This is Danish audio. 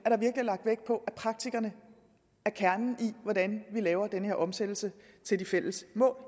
er lagt vægt på at praktikerne er kernen i hvordan vi laver den her omsættelse til de fælles mål